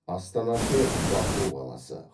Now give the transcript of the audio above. астанасы баку қаласы